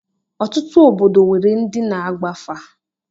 Ọtụtụ obodo nwere ndị na-agba afa.